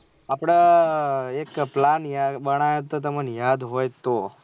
આપળે આ એક plan યાર બનાયો હતો. તમને યાદ હોય તો